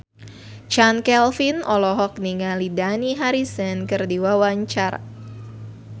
Chand Kelvin olohok ningali Dani Harrison keur diwawancara